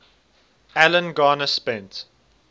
alan garner spent